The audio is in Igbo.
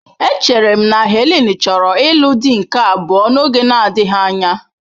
Echere m na Helen chọrọ ịlụ di nke abụọ n'oge na-adịghị anya.